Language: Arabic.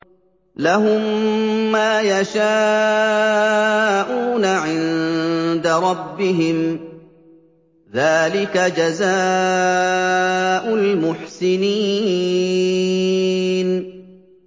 لَهُم مَّا يَشَاءُونَ عِندَ رَبِّهِمْ ۚ ذَٰلِكَ جَزَاءُ الْمُحْسِنِينَ